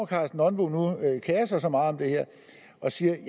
karsten nonbo nu kerer sig så meget om det her og siger at